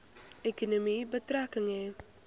ekonomie betrekking hê